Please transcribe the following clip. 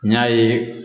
N y'a ye